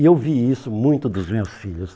E eu vi isso muito dos meus filhos.